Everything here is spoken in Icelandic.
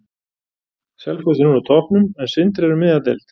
Selfoss er núna á toppnum, en Sindri er um miðja deild.